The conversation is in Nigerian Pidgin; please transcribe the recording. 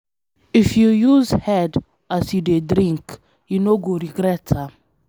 If you use head as you dey drink, you no go regret am.